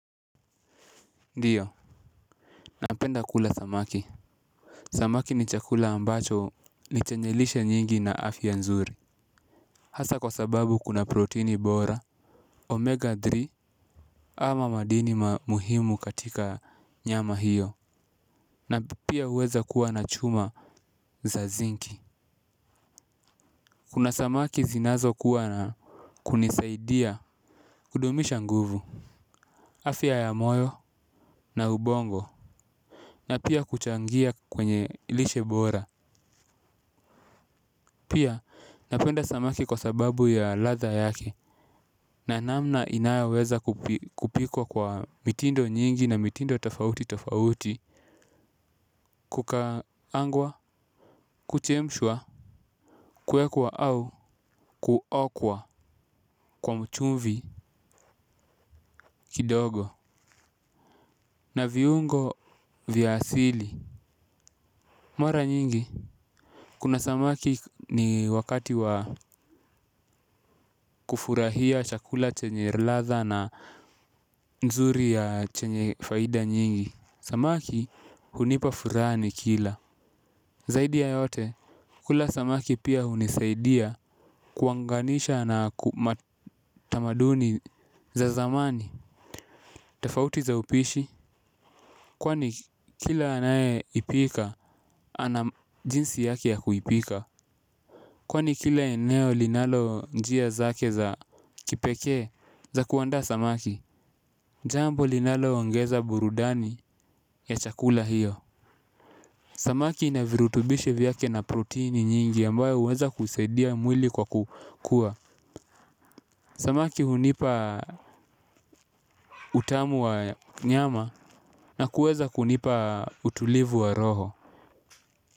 Ndiyo, napenda kula samaki. Samaki ni chakula ambacho ni chenye lishe nyingi na afya nzuri. Hasa kwa sababu kuna proteini bora, omega tatu ama madini ma muhimu katika nyama hiyo na pia huweza kuwa na chuma za zinki. Kuna samaki zinazokuwa na kunisaidia kudumisha nguvu. Afya ya moyo na ubongo na pia kuchangia kwenye lishe bora. Pia napenda samaki kwa sababu ya ladha yake na namna inayoweza kupikwa kwa mitindo nyingi na mitindo tafauti tafauti. Kukaangwa, kuchemshwa, kuwekwa au kuokwa kwa chumvi kidogo na viungo vya asili. Mara nyingi kuna samaki ni wakati wa kufurahia chakula chenye ladha na nzuri ya chenye faida nyingi. Samaki hunipa furaha nikila. Zaidia ya yote kula samaki pia hunisaidia kuunganisha na matamaduni za zamani. Tofauti za upishi kwani kila anaye ipika ana jinsi yake ya kuipika. Kwani kila eneo linalo njia zake za kipekee za kuandaa samaki. Jambo linalo ongeza burudani ya chakula hiyo. Samaki ina virutubishi vyake na protini nyingi ambayo huweza kusaidia mwili kwa kukua. Samaki hunipa utamu wa nyama na kueza kunipa utulivu wa roho.